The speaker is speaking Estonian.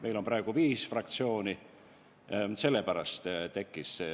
Meil on praegu viis fraktsiooni, sellepärast selline olukord tekkis.